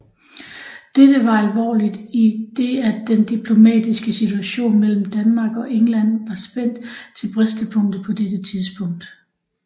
Dette var alvorligt i det at den diplomatiske situation mellem Danmark og England var spændt til bristepunktet på dette tidspunkt